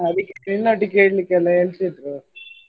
ಆದಿಕ್ಕೆ ನಿನ್ನೊಟ್ಟಿಗೆ ಕೇಳ್ಲಿಕ್ಕೆ ಎಲ್ಲ ಹೇಳ್ತಿದ್ರು.